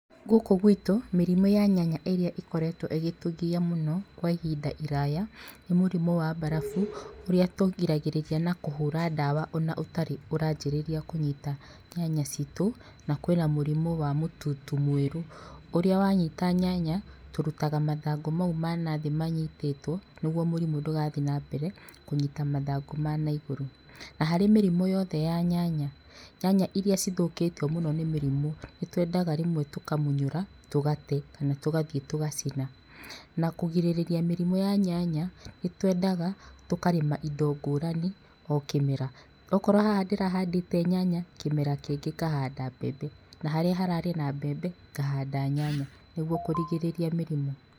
Gũkũ gwitũ, mĩrimũ ya nyanya ĩrĩa ĩkoretwo ĩgĩtũgia mũno kwa ihinda iraya, nĩ mũrimũ wa mbarabu, ũrĩa tũrigagĩrĩria na kũhũra ndawa ona ũtarĩ ũranjĩrĩria kũnyita nyanya citũ. Na kwĩna mũrimũ wa mũtutu mwerũ ũrĩa wanyita nyanya tũrutaga mathangũ mau manathĩ manyitĩtwo nĩguo mũrimũ ndũgathiĩ na mbere kũnyita mathangũ ma naigũrũ. Na harĩ mĩrimũ yothe ya nyanya, nyanya iria cithũkĩtio mũno nĩ mĩrimũ nĩtwendaga rĩmwe rũkamunyũra tũgate kana tũgathiĩ tũgacina. Na kũgirĩrĩria mĩrimũ ya nyanya nĩtwendaga tũkarĩma indo ngũrani o kĩmera. Okorwo haha ndĩrahandĩte nyanya kĩmera kĩngĩ ngahanda mbembe na harĩa hararĩ na mbembe ngahanda nyanya nĩguo kũrigĩrĩria mĩrimũ.